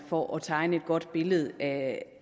for at tegne et godt billede af